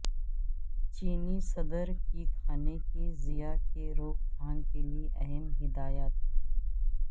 چینی صدر کی کھانے کے ضیاع کے روک تھام کیلئے اہم ہدایات